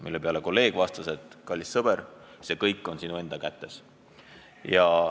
" Mille peale teine tark vastas: "Kallis sõber, see kõik on sinu enda kätes.